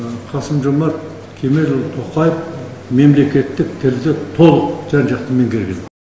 қасым жомарт кемелұлы тоқаев мемлекеттік тілді толық жан жақты меңгерген